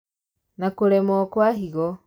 Na kũremwo kwa higo